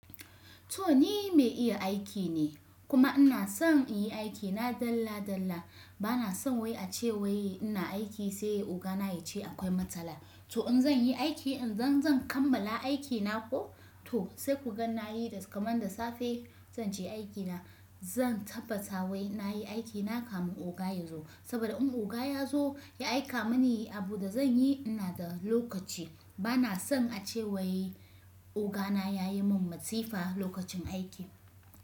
To ni mai iya aiki ne kuma ina son in yi aikina dalla dalla. Bana son wai ace wai ina aiki sai ogana ya ce akwai matsala. To in zan yi aiki, in zan kammala aikina ko to sai ku ga na yi da kaman da safe zan je aikina. Zan tabbata wai na yi aikina kafin oga ya zo. Saboda in oga ya zo ya aika mini yi abun da zan yi, ina da lokaci. Bana son ace wai ogana ya yi min masifa lokacin aiki.